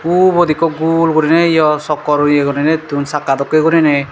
ubot ekku gul guriney iyo sokkor yea guriney dun sakka dokki guriney.